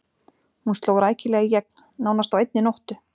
Hún sló rækilega í gegn, nánast á einni nóttu.